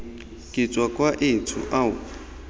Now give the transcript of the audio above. ke tswa kwa etsho ao